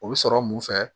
O bɛ sɔrɔ mun fɛ